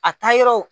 A taa yɔrɔ